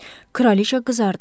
Kraliçə qızardı.